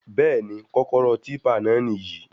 Bẹ́ẹ̀ni, kọ́kọ́rọ́ típpà náà níyì